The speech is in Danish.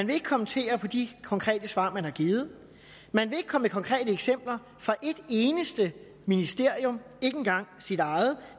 vil kommentere de konkrete svar man har givet man vil ikke komme med konkrete eksempler fra et eneste ministerium ikke engang sit eget